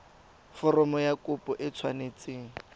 foromo ya kopo e tshwanetse